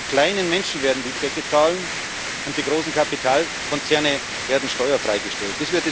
Die kleinen Leute werden die Zeche zahlen, und die großen Kapitalkonzerne werden steuerfrei gestellt.